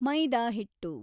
ಮೈದಾ ಹಿಟ್ಟು